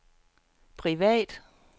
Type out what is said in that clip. privat